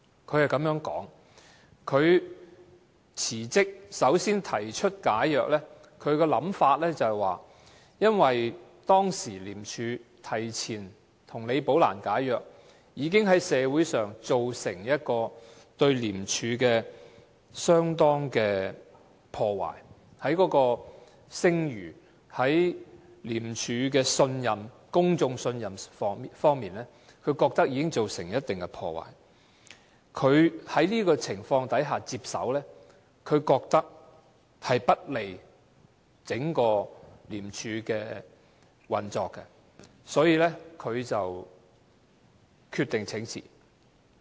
他是這樣說的：他辭職，首先提出解約，他的想法是因為當時廉署提前跟李寶蘭解約，已在社會上對廉署的聲譽造成相當的破壞，在公眾對廉署的信任方面已經造成一定的破壞，他覺得在這種情況下接手並不利於整個廉署的運作，所以他決定請辭。